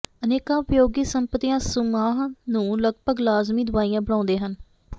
ਅਨੇਕਾਂ ਉਪਯੋਗੀ ਸੰਪਤੀਆਂ ਸੁਮਾਹ ਨੂੰ ਲਗਭਗ ਲਾਜ਼ਮੀ ਦਵਾਈਆਂ ਬਣਾਉਂਦੇ ਹਨ